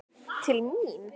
Til mín?